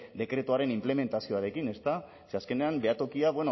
dekretuaren inplementazioarekin ze azkenean behatokia